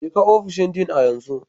Je ka ofishin Dean a yanzu!